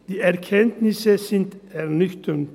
Die Erkenntnisse sind ernüchternd.